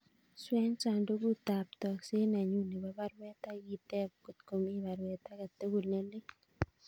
Swen sandugut ab tokset nenyun nebo baruet agiteb kot komi baruet age tugul ne lelach